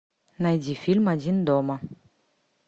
найди фильм один дома